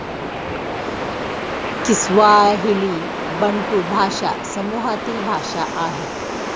Kiswahili Bantu भाषा समूहातील भाषा आहे.